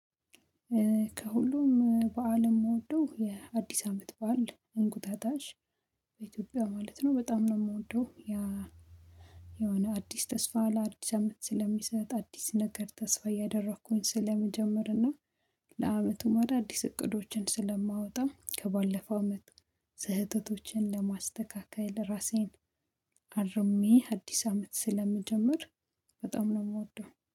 ከሁሉም በዓል የምወደው የአዲስ አመት በዓል እንቁጣጣሽ በኢትዮጵያ ማለት ነው በጣም ነው የምወደው። ያ የሆነ አዲስ ተስፋ ለአዲስ አመት ስለሚሰጥ አዲስ ነገር ተስፋ እያደረኩኝ ስለመጀመርና። ለአመቱ ማዳ አዲስ እቅዶችን ስለማወጣ ከባለፈ አመት። ስህተቶችን ለማስተካከል ራሴን አርሜ አዲስ አመት ስለምጀምር። በጣም ነው የምወደው